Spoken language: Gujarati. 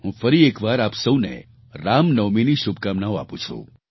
હું ફરી એક વાર આપ સહુને રામનવમીની શુભકામનાઓ આપું છું